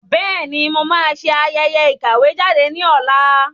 Bẹ́ẹ̀ni, mo máa ṣe ayẹyẹ ìkàwé jáde ní ọ̀la